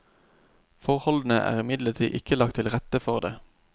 Forholdene er imidlertid ikke lagt til rette for det.